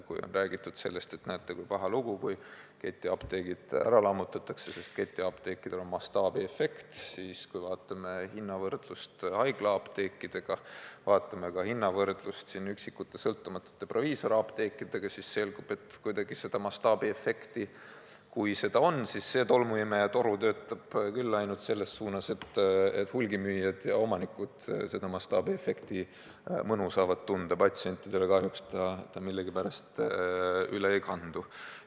Kui on räägitud sellest, et näete, kui paha lugu, kui ketiapteegid ära lammutatakse, sest ketiapteekidel on mastaabiefekt, siis kui vaatame hinnavõrdlust haiglaapteekidega, vaatame ka hinnavõrdlust üksikute sõltumatute proviisorapteekidega, siis selgub, et kui seda mastaabiefekti on, siis see tolmuimejatoru töötab küll ainult selles suunas, et hulgimüüjad ja omanikud selle mastaabiefekti mõnu saavad tunda, patsientidele kahjuks ta millegipärast üle ei kandu.